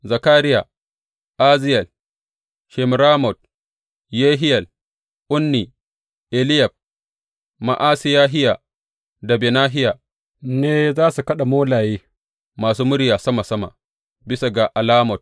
Zakariya, Aziyel, Shemiramot, Yehiyel, Unni, Eliyab, Ma’asehiya da Benahiya, ne za su kaɗa molaye masu murya sama sama, bisa ga alamot.